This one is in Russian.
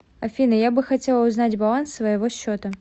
афина я бы хотела узнать баланс своего счета